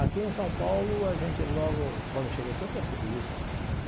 Aqui em São Paulo, a gente logo quando cheguei aqui, eu percebi isso.